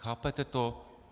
Chápete to?